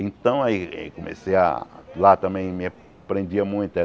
Então aí comecei a... Lá também me prendia muito. Né